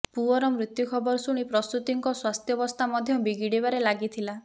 ପୁଅର ମୃତ୍ୟୁ ଖବର ଶୁଣି ପ୍ରସୂତିଙ୍କ ସ୍ବାସ୍ଥ୍ୟବସ୍ଥା ମଧ୍ୟ ବିଗିଡ଼ିବାରେ ଲାଗିଥିଲା